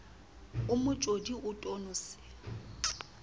o motjodi o tono se